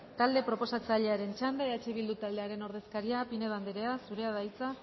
talde proposatzailearen txanda eh bildu taldearen ordezkaria pinedo andrea zurea da hitza